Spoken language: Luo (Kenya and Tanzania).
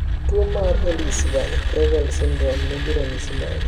Tuo mar Ellis Van Creveld syndrome ni gi ranyisi mage?